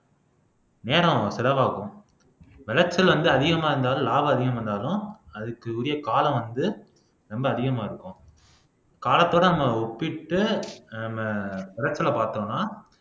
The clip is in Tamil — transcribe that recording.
நேரம் செலவாகும் விளைச்சல் வந்து அதிகமா இருந்தாலும் லாபம் அதிகமா இருந்தாலும் அதுக்கு உரிய காலம் வந்து ரொம்ப அதிகமா இருக்கும் காலத்தோட அங்க ஒப்பிட்டு நாம விளைச்ச பார்த்தோம்னா